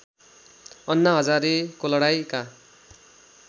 अन्ना हजारेको लडाईँँका